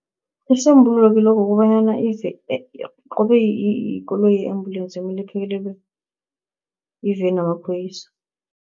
Isisombululo kilokhu kukobanyana ize qobe yikoloyi ye-embulensi, kumele iphekelelwe yiveni yamaphoyisa.